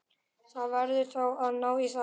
Þú verður að ná í þá þar.